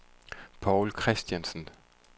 Povl Christiansen